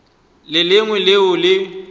le le lengwe leo le